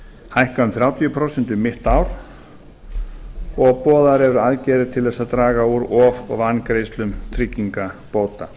hækka um þrjátíu prósent um mitt ár og boðaðar eru aðgerðir til þess að draga úr of og vangreiðslum tryggingabóta